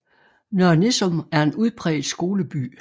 Nørre Nissum er en udpræget skoleby